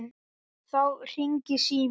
Þá hringir síminn.